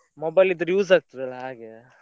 Mobile ಇದ್ರೆ use ಆಗ್ತದ ಅಲ್ಲಾ ಹಾಗೆಯಾ.